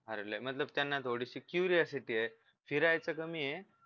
अरे लयी मतलब त्यांना थोडीशी queryacity आहे फिरायचं कमी आहे